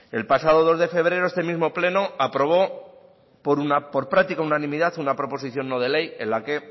el pasado dos de febrero este mismo pleno aprobó por práctica unanimidad una proposición no de ley en la que